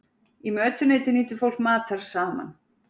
Í mötuneyti nýtur fólk matar saman.